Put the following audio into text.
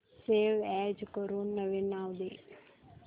save as करून नवीन नाव दे